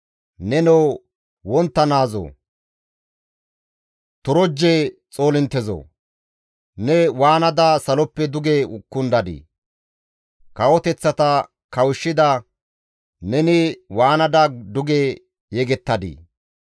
Nenoo wontta naazoo, torojje xoolinttezoo, ne waanada saloppe duge kundadii? Kawoteththata kawushshida neni waanada duge yegettadii!